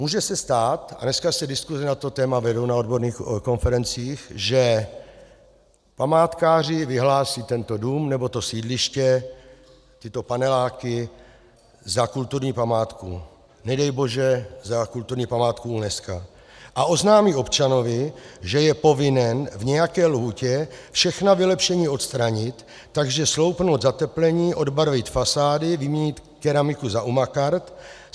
Může se stát, a dneska se diskuse na to téma vedou na odborných konferencích, že památkáři vyhlásí tento dům nebo to sídliště, tyto paneláky za kulturní památku, nedej bože za kulturní památku UNESCO, a oznámí občanovi, že je povinen v nějaké lhůtě všechna vylepšení odstranit, takže sloupnout zateplení, odbarvit fasády, vyměnit keramiku za umakart.